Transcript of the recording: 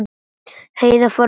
Heiða fór að hlæja.